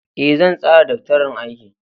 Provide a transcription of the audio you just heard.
Ee, zan tsara daftarin aiki.